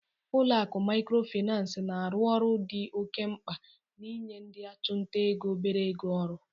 Ụlọ akụ Maịkrofịnansị na-arụ ọrụ dị oke mkpa n'inye ndị ọchụnta ego obere ego ọrụ.